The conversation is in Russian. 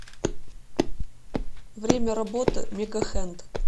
время работы мегахенд